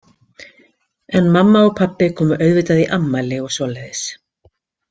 En mamma og pabbi komu auðvitað í afmæli og svoleiðis.